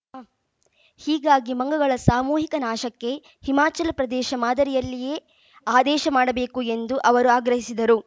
ಹೀಗಾಗಿ ಮಂಗಗಳ ಸಾಮೂಹಿಕ ನಾಶಕ್ಕೆ ಹಿಮಾಚಲ ಪ್ರದೇಶ ಮಾದರಿಯಲ್ಲಿಯೇ ಆದೇಶ ಮಾಡಬೇಕು ಎಂದು ಅವರು ಆಗ್ರಹಿಸಿದರು